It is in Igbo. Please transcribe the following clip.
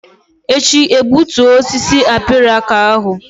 Echi egbutu osisi abirika ahụ!